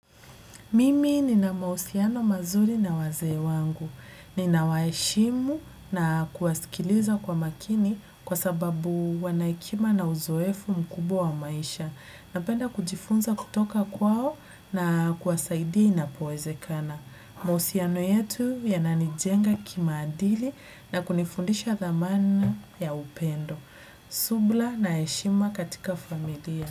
Mimi nina mausiano mazuri na wazee wangu. Ninawaheshimu na kuwasikiliza kwa makini kwa sababu wana hekima na uzoefu mkubwa wa maisha. Napenda kujifunza kutoka kwao na kuwasaidia inapowezekana mahusiano yetu yananijenga kimaadili na kunifundisha dhamana ya upendo. Subla na heshima katika familia.